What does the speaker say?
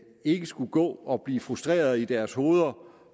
ikke skulle gå og blive frustrerede i deres hoveder